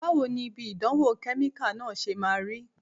Báwo ni ibi ìdánwò kẹ́míkà náà ṣe máa rí?